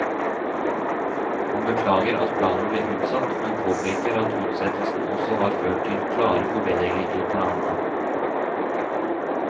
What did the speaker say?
Han beklager at planen ble utsatt, men påpeker at utsettelsen også har ført til klare forbedringer i planene.